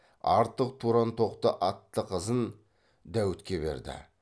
артық тұрантоқты атты қызын дәуітке берді